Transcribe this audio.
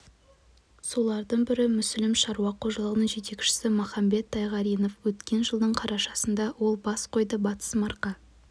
солардың бірі мүсілім шаруа қожалығының жетекшісі махамбет тайғаринов өткен жылдың қарашасында ол бас қойды батыс марқа